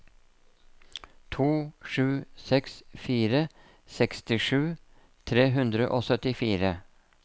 to sju seks fire sekstisju tre hundre og syttifire